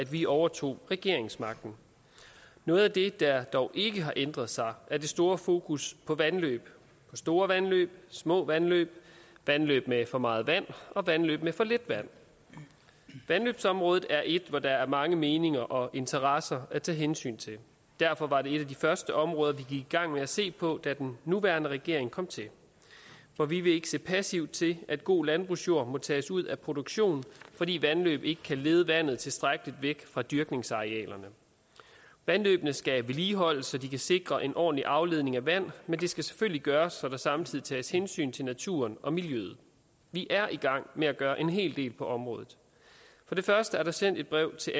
vi overtog regeringsmagten noget af det der dog ikke har ændret sig er det store fokus på vandløb på store vandløb små vandløb vandløb med for meget vand og vandløb med for lidt vand vandløbsområdet er et område hvor der er mange meninger og interesser at tage hensyn til derfor var det et af de første områder vi gik i gang med at se på da den nuværende regering kom til for vi vil ikke se passivt til at god landbrugsjord må tages ud af produktion fordi vandløb ikke kan lede vandet tilstrækkeligt væk fra dyrkningsarealerne vandløbene skal vedligeholdes så de kan sikre en ordentlig afledning af vand men det skal selvfølgelig gøres så der samtidig tages hensyn til naturen og miljøet vi er i gang med at gøre en hel del på området for det første er der sendt et brev til